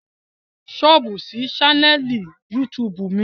Sọ́ọ̀bù sí ṣánẹ́ẹ̀lì YouTube mi